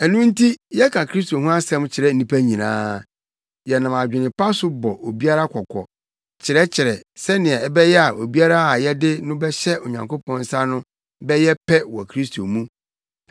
Ɛno nti yɛka Kristo ho asɛm kyerɛ nnipa nyinaa. Yɛnam adwene pa so bɔ obiara kɔkɔ, kyerɛkyerɛ, sɛnea ɛbɛyɛ a obiara a yɛde no bɛhyɛ Onyankopɔn nsa no bɛyɛ pɛ wɔ Kristo mu.